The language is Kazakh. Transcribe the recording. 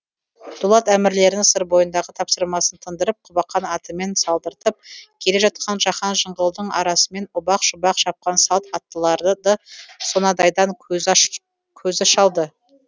дулат әмірлерінің сыр бойындағы тапсырмасын тындырып құбақан атымен салдыртып келе жатқан жаһан жыңғылдың арасымен ұбақ шұбақ шапқан салт аттыларыды сонадайдан көзі көзі шалды